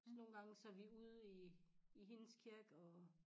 Så nogle gange så er vi ude i i hendes kirke og